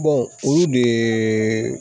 olu de